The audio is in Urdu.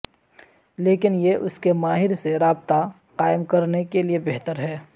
لیکن یہ اس کے ماہر سے رابطہ قائم کرنے کے لئے بہتر ہے